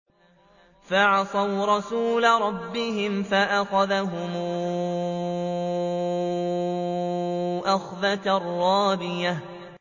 فَعَصَوْا رَسُولَ رَبِّهِمْ فَأَخَذَهُمْ أَخْذَةً رَّابِيَةً